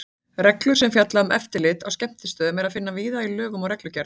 Reglur sem fjalla um eftirlit á skemmtistöðum er að finna víða í lögum og reglugerðum.